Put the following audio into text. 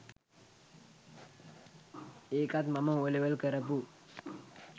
ඒකත් මම ඕලෙවල් කරපු